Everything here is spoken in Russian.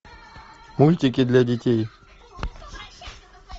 мультики для детей